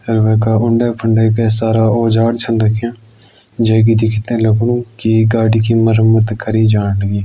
अर वैका उंडे फंडे के सारा औजार छन रख्यां जै कि दिखतै लगणू की ई गाड़ी की मरम्मत करी जाण लगीं।